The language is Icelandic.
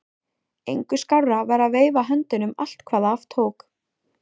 Engu skárra var að veifa höndunum allt hvað af tók.